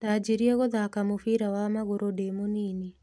Ndanjirie gũthaka mũbira wa ma magũrũ nĩ mũnini.